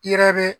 I yɛrɛ be